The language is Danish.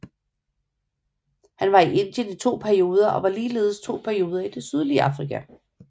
Han var i Indien i to perioder og ligeledes to perioder i det sydlige Afrika